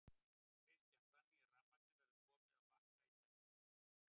Kristján: Þannig að rafmagnið verður komið á Bakka í tæka tíð?